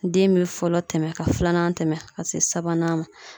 Den bɛ fɔlɔ tɛmɛ ka filanan tɛmɛ ka se sabanan ma.